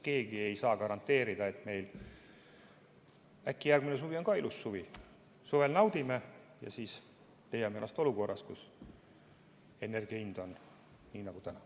Keegi ei saa garanteerida, et: äkki järgmine suvi on ka ilus, me naudime suve ja siis leiame ennast olukorras, kus energia hind on selline nagu täna.